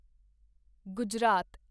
Gujarat